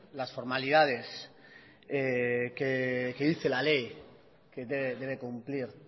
las formalidades que dice la ley que debe cumplir